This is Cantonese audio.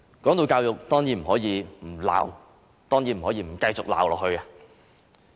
談到教育，當然不可以不繼續批評。